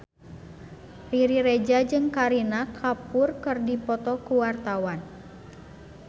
Riri Reza jeung Kareena Kapoor keur dipoto ku wartawan